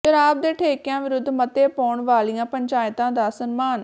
ਸ਼ਰਾਬ ਦੇ ਠੇਕਿਆਂ ਵਿਰੁੱਧ ਮਤੇ ਪਾਉਣ ਵਾਲੀਆਂ ਪੰਚਾਇਤਾਂ ਦਾ ਸਨਮਾਨ